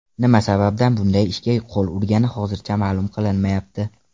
Nima sababdan bunday ishga qo‘l urgani hozircha ma’lum qilinmayapti.